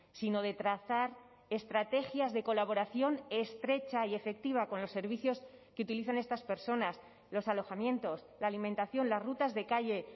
sino de trazar estrategias de colaboración estrecha y efectiva con los servicios que utilizan estas personas los alojamientos la alimentación las rutas de calle